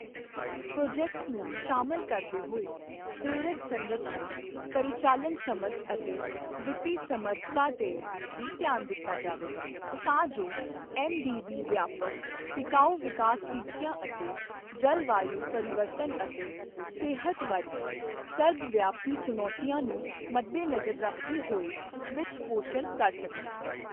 Project ਨੂੰ ਸ਼ਾਮਲ ਕਰਦੇ ਹੋਏ ਪ੍ਰਰੇਕ ਸੰਰਚਨਾ, ਪਰਿਚਾਲਣ ਸਮਝ ਅਤੇ ਵਿੱਤੀ ਸਮੱਰਥਾ ਤੇ ਵੀ ਧਿਆਨ ਦਿੱਤਾ ਜਾਵੇਗਾ, ਤਾਂ ਜੋ ਐੱਮਡੀਬੀ ਵਿਆਪਕ ਟਿਕਾਊ ਵਿਕਾਸ ਟੀਚਿਆਂ ਅਤੇ ਜਲਵਾਯੂ ਪਰਿਵਰਤਨ ਅਤੇ ਸਿਹਤ ਵਰਗੀ ਸਰਬ ਵਿਆਪੀ ਚੁਣੌਤੀਆਂ ਨੂੰ ਮਦਦੇਨਜ਼ਰ ਰੱਖਦੇ ਹੋਏ ਵਿੱਚ ਪੋਸ਼ਣ ਕਰ ਸਕੱਣ।